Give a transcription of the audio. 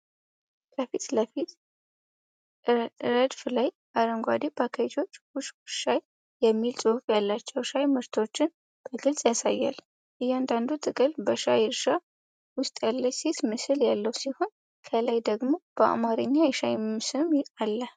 ከፊት ለፊት ረድፍ ላይ አረንጓዴ ፓኬጆች "ውሽ ውሽ ሻይ" የሚል ጽሑፍ ያላቸው ሻይ ምርቶችን በግልጽ ያሳያል። እያንዳንዱ ጥቅል በሻይ እርሻ ውስጥ ያለች ሴት ምስል ያለው ሲሆን ከላይ ደግሞ በአማርኛ የሻይ ስም አለ።